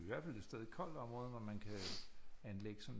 Er jo i hvert fald et sted et kold område hvor man kan anlægge sådan